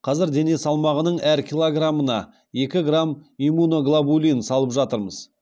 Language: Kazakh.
қазір дене салмағының әр килограммына екі грамм иммуноглобулин салып жатырмыз